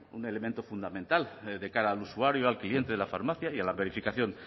un elemento fundamental de cara al usuario al cliente de la farmacia y a la verificación